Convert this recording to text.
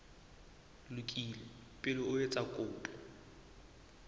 lokile pele o etsa kopo